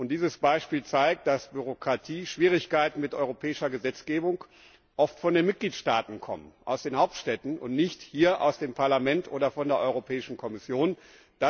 Dieses Beispiel zeigt, dass Bürokratie und Schwierigkeiten mit der europäischen Gesetzgebung oft von den Mitgliedstaaten und aus den Hauptstädten und nicht hier aus dem Parlament oder von der Europäischen Kommission kommen.